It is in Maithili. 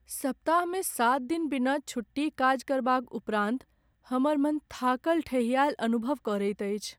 सप्ताहमे सात दिन बिना छुट्टी काज करबाक उपरान्त हमर मन थाकल ठेहियायल अनुभव करैत अछि।